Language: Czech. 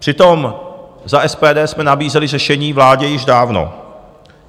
Přitom za SPD jsme nabízeli řešení vládě již dávno.